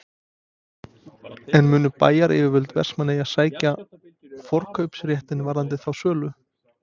En munu bæjaryfirvöld Vestmannaeyja sækja forkaupsréttinn varðandi þá sölu?